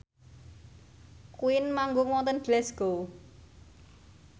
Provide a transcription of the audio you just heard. Queen manggung wonten Glasgow